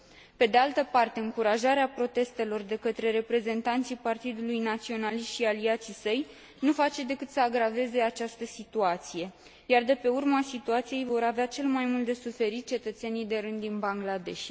Pe de altă parte, încurajarea protestelor de către reprezentanții Partidului Naționalist și aliații săi nu face decât să agraveze această situație, iar de pe urma situației vor avea cel mai mult de suferit cetățenii de rând din Bangladesh.